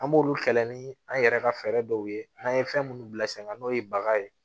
An b'olu kɛlɛ ni an yɛrɛ ka fɛɛrɛ dɔw ye n'an ye fɛn minnu bila sen kan n'o ye baga ye